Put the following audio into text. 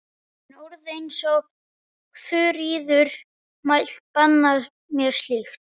En orð eins og Þuríður mælti banna mér slíkt.